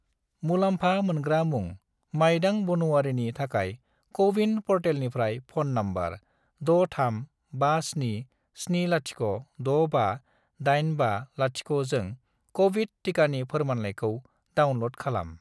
मुलामफा मोनग्रा मुं माइदां बानुआरिनि थाखाय क'-विन प'र्टेलनिफ्राय फ'न नम्बर 63577065850 जों क'विड टिकानि फोरमानलाइखौ डाउनल'ड खालाम|